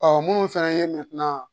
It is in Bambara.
Ɔ munnu fɛnɛ ye